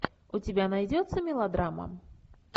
у тебя найдется мелодрама